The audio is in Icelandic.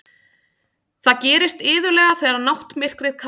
Það gerist iðulega þegar náttmyrkrið kallar.